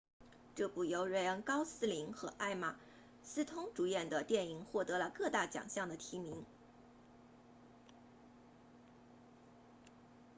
这部由瑞恩高斯林 ryan gosling 和艾玛斯通 emma stone 主演的电影获得了各大奖项的提名